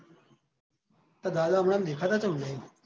તાર દાદા હમણાં ઓમ દેખાતાં ચમ નહીં